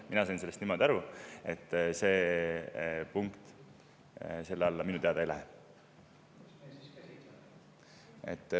Mina sain sellest niimoodi aru, et see punkt selle alla ei lähe.